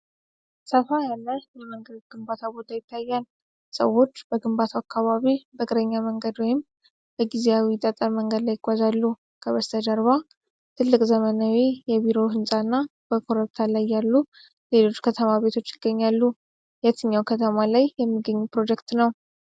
ሰፋ ያለ የመንገድ ግንባታ ቦታ ይታያል። ሰዎች በግንባታው አካባቢ በእግረኛ መንገድ ወይም በጊዜያዊው ጠጠር መንገድ ላይ ይጓዛሉ። ከበስተጀርባ ትልቅ ዘመናዊ የቢሮ ሕንፃ እና በኮረብታ ላይ ያሉ ሌሎች ከተማ ቤቶች ይገኛሉ። የትኛው ከተማ ላይ የሚገኝ ፕሮጀክት ነው?